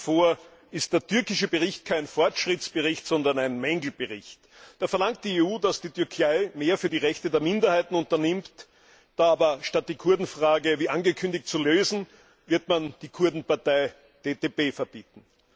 Nach wie vor ist der Bericht über die Türkei kein Fortschrittsbericht, sondern ein Mängelbericht. Da verlangt die EU, dass die Türkei mehr für die Rechte der Minderheiten unternimmt, aber statt die Kurdenfrage wie angekündigt zu lösen, wird man die Kurdenpartei DTP verbieten.